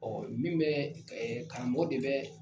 min bɛ karamɔgɔ de bɛ